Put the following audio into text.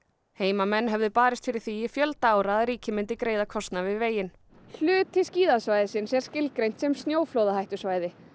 heimamenn höfðu barist fyrir því í fjölda ára að ríkið myndi greiða kostnað við veginn hluti skíðasvæðisins er skilgreindur sem snjóflóðahættusvæði